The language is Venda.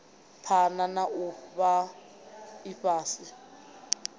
phana na u fhaa ifhasi